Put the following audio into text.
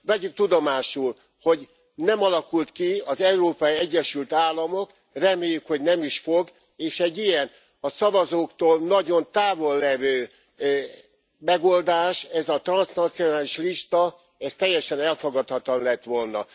Vegyük tudomásul, hogy nem alakult ki az Európai Egyesült Államok, reméljük, hogy nem is fog, és egy ilyen, a szavazóktól nagyon távol levő megoldás, ez a transznacionális lista, ez teljesen elfogadhatatlan lett volna.